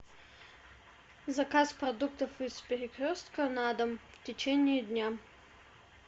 заказ продуктов из перекрестка на дом в течении дня